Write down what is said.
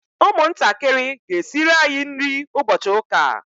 ụmụntakịrị ga-esiri anyị nri ụbọchị ụka a